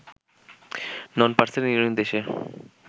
নন parcel union দেশে